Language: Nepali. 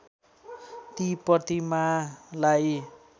ती प्रतिमालाई